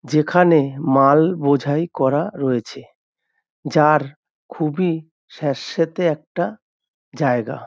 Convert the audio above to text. যেখানে মাল বোঝাই করা রয়েছে। যার খুবই স্যাঁত স্যাঁতে একটা জায়গা।